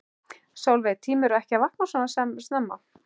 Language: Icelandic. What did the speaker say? Sólveig: Tímirðu ekki að vakna svona snemma?